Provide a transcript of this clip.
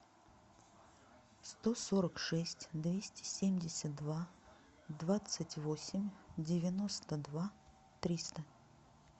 сто сорок шесть двести семьдесят два двадцать восемь девяносто два триста